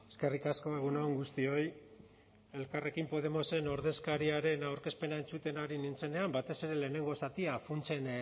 eskerrik asko egun on guztioi elkarrekin podemosen ordezkariaren aurkezpena entzuten ari nintzenean batez ere lehenengo zatia funtsen